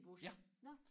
Ja